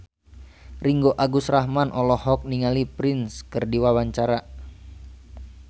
Ringgo Agus Rahman olohok ningali Prince keur diwawancara